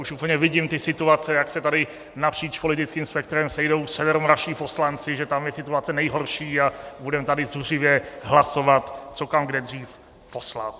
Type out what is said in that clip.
Už úplně vidím ty situace, jak se tady napříč politickým spektrem sejdou severomoravští poslanci, že tam je situace nejhorší, a budeme tady zuřivě hlasovat, co kam kde dřív poslat.